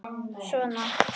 Svona